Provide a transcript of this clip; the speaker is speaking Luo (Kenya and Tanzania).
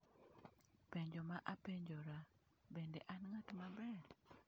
Penjo ma apenjora - bende an ng’at maber?